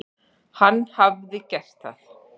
Hann hafi gert það.